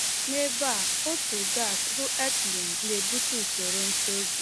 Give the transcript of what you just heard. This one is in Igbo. N’ebe a, otu gas, bụ ethylene, na-ebute usoro ntozu.